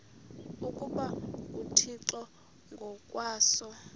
ukuba nguthixo ngokwaso